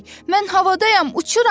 mən havadayam, uçuram!